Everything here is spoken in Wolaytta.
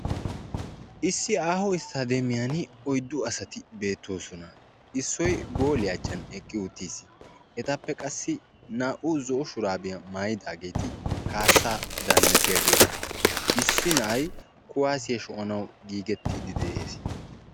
Issi aaho isttademiyan oyddu asati beettoosona. Issoy gooliya achchan eqqi uttiis, ettappe qassi naa"u zo'o shurabiya maayyidaageeti kaassaa daannatiyaageeta, issi na'ay kuwaassiya sho'anawu giigettide dees.